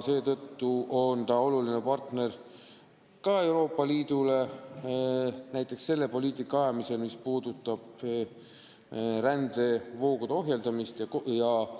Seetõttu on ta Euroopa Liidu oluline partner näiteks selle poliitika ajamisel, mis puudutab rändevoogude ohjeldamist ja